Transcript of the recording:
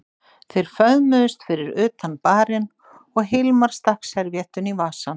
Þeir föðmuðust fyrir utan barinn og Hilmar stakk servíettunni í vasann.